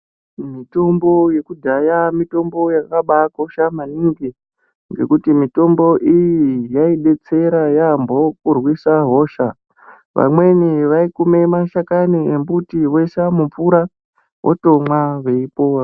Mitombo yekudhaya mitombo yakabaakosha maningi zvokuti mitombo iyi yaibetsera yaambo kurwisa hosha. Vamweni vaikume mashakani embuti voisa mumvura votomwa veipora.